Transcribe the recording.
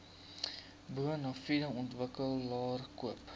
bonafide ontwikkelaar koop